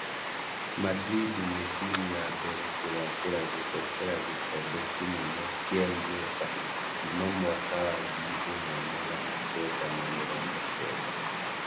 Madrid nĩtimũ ya mbere kugacĩra gũtetera gikombe kĩnene kĩa Uefa kuma mwaka wa ngiri imwe magana kenda ma mĩrongo kenda